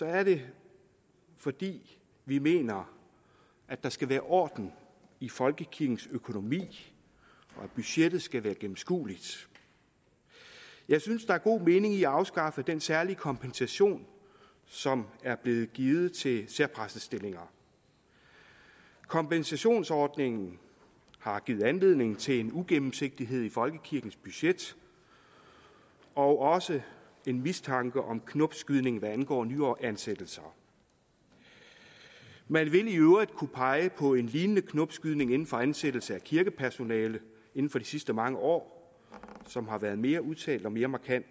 er det fordi vi mener at der skal være orden i folkekirkens økonomi og at budgettet skal være gennemskueligt jeg synes der er god mening i at afskaffe den særlige kompensation som er blevet givet til særpræstestillinger kompensationsordningen har givet anledning til en ugennemsigtighed i folkekirkens budget og også en mistanke om knopskydning hvad angår nyansættelser man vil i øvrigt kunne pege på en lignende knopskydning inden for ansættelse af kirkepersonale inden for de sidste mange år som har været mere udtalt og mere markant